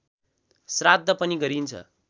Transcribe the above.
श्राद्ध पनि गरिन्छ